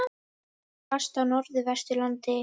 Hvasst á Norðvesturlandi